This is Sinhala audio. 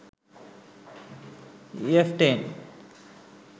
ef10